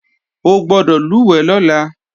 O gbọ́dọ̀ lùwẹ̀ lọ́la!